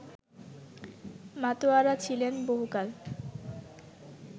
মাতোয়ারা ছিলেন বহুকাল